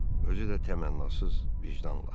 Özü də təmənnasız vicdanla.